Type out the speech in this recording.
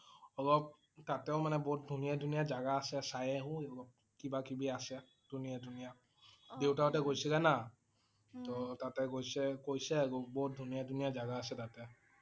অলপ তাতে ও মানে বহুত ধুনীয়া ধুনীয়া জাগা আছে চাই আহিব লাগিব । কিবা কবি আছে ধুনীয়া ধুনীয়া। দেউতাহঁতে গৈছিল না। তহ তাতে গৈছে কৈছে আৰু বহুত ধুনীয়া ধুনীয়া জাগা আছে তাতে।